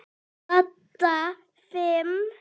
Dadda fimm.